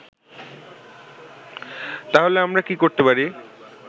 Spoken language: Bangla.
তাহলে আমরা কি করতে পারি